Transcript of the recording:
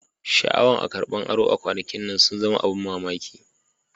Shaawan a karban aro kwanakin nan sun zama abun mamaki.